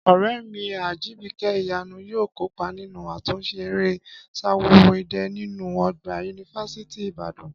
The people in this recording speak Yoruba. Ọ̀rẹ́ mi Ajìbìkẹ́ Ìyanu yóò kópa nínú àtúnṣe eré Ṣaworo idẹ nínú ọgbà yunifásítì Ìbàdàn